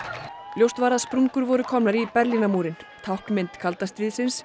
ljóst var að sprungur voru komnar í Berlínarmúrinn táknmynd kalda stríðsins